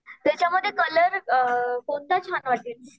त्याच्यामध्ये कलर कोणता छान वाटेल?